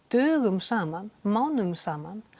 dögum saman mánuðum saman